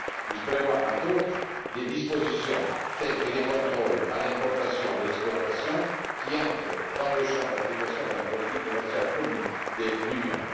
Il prévoit, entre autres, des dispositions telles que les contrôles à l'importation et à l'exportation, qui entrent dans le champ d'application de la politique commerciale commune de l'Union.